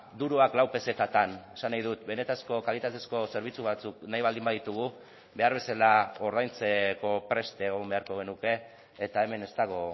duroak lau pezetatan esan nahi dut benetako kalitatezko zerbitzu batzuk nahi baldin baditugu behar bezala ordaintzeko prest egon beharko genuke eta hemen ez dago